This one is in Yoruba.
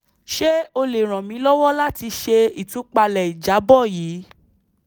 ṣe o le ran mi lọwọ lati ṣe itupalẹ ijabọ yii